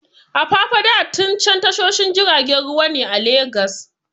Apapa da Tin Can tashoshin jiragen ruwa ne a Legas.